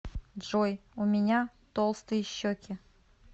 джой у меня толстые щеки